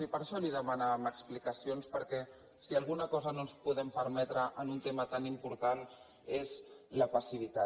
i per això li demanàvem explicacions perquè si alguna cosa no ens podem permetre en un tema tan important és la passivitat